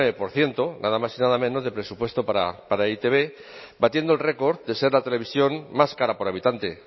por ciento nada más y nada menos de presupuesto para e i te be batiendo el record de ser la televisión más cara por habitante